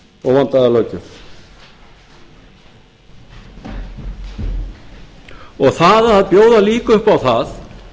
óvandaða löggjöf og það að bjóða líka upp á það